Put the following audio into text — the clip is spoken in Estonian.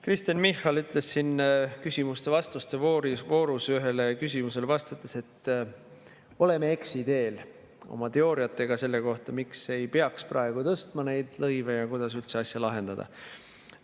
Kristen Michal ütles siin küsimuste‑vastuste voorus ühele küsimusele vastates, et me oleme eksiteel oma teooriatega selle kohta, miks ei peaks praegu tõstma neid lõive ja kuidas üldse asja lahendada.